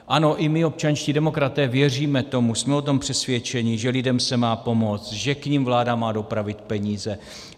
Ano, i my, občanští demokraté, věříme tomu, jsme o tom přesvědčeni, že lidem se má pomoct, že k nim vláda má dopravit peníze.